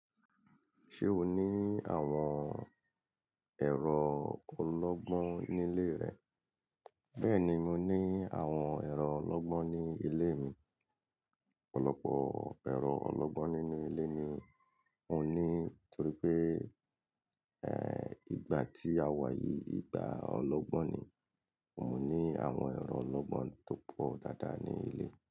Ṣé o ní àwọn ẹ̀rọ ológbọ́n ní ilé rẹ bẹ́ẹ̀ni mo ní àwọn ẹ̀rọ ológbọ́n ní ilé mi, ọ̀pọ̀lọpọ̀ ẹ̀rọ ológbọ́n nínú ilé mi mo ní torí pé, en, ìgbà tí a wà yìí ìgbà ológbọ́n ni, mo ní àwọn ẹ̀rọ ológbọ́n tó pọ̀ dáadáa ní ilé.